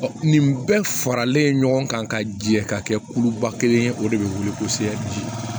Nin bɛɛ faralen ɲɔgɔn kan ka jɛ ka kɛ kuluba kelen ye o de bɛ wuli kosɛbɛ